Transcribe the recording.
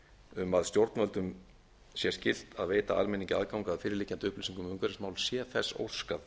um að stjórnvöldum sé skylt að veita almenningi aðgang að fyrirliggjandi upplýsingum um umhverfismál sé þess óskað